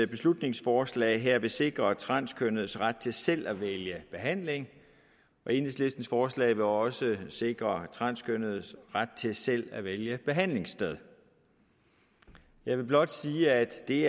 beslutningsforslag her vil sikre transkønnedes ret til selv at vælge behandling og enhedslistens forslag vil også sikre transkønnedes ret til selv at vælge behandlingssted jeg vil blot sige at det